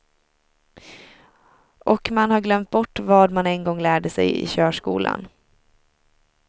Och man har glömt bort vad man en gång lärde sig i körskolan.